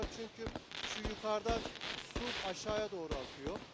Burada çünki şu yukardan su aşağıya doğru akıyor.